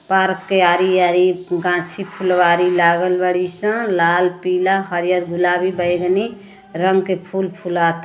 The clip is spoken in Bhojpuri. पार्क के आरी-आरी गांछी फुलवारी लागल बाड़ीसन लाल पीला हरिअर गुलाबी बैगनी रंग के फूल फुलाता।